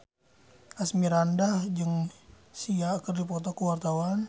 Asmirandah jeung Sia keur dipoto ku wartawan